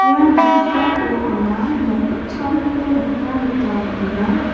ia noksao anga nok gitchamko nikna gita man·enga.